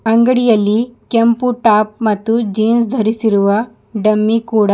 ಅಂಗಡಿಯಲ್ಲಿ ಕೆಂಪು ಟಾಪ್ ಮತ್ತು ಜೀನ್ಸ್ ಧರಿಸಿರುವ ಡಮ್ಮಿ ಕೂಡ--